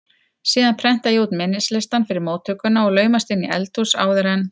Síðan prenta ég út minnislistann fyrir móttökuna og laumast inn í eldhús áður en